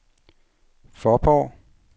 Faaborg